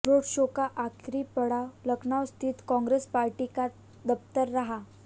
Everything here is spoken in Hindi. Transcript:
रोड शो का आखिरी पड़ाव लखनऊ स्थित कांग्रेस पार्टी का दफ्तर रहा